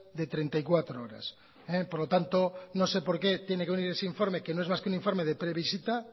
de treinta y cuatro horas por lo tanto no sé por qué tiene que venir ese informe que no es más que un informe de previsita